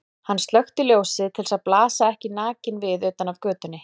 Hann slökkti ljósið til að blasa ekki nakinn við utan af götunni.